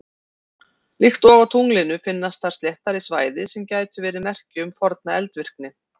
Líkt og á tunglinu finnast þar sléttari svæði sem gætu verið merki um forna eldvirkni.